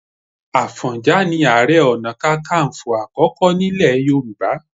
Àfọ̀njà ni Ààrẹ Ọ̀nà Kakaǹfò àkọ́kọ́ nílẹ̀ Yorùbá